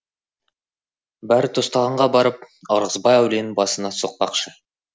бәрітостағанға барып ырғызбай әулиенің басына соқпақшы